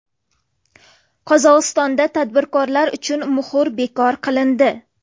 Qozog‘istonda tadbirkorlar uchun muhr bekor qilindi.